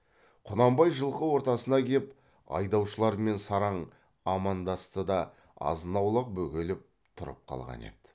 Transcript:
құнанбай жылқы ортасына кеп айдаушылармен сараң амандасты да азын аулақ бөгеліп тұрып қалған еді